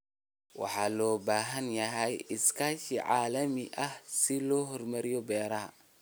Waxaa loo baahan yahay iskaashi caalami ah si loo horumariyo beeraha.